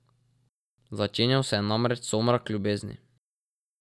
Začenjal se ja namreč somrak Ljubezni.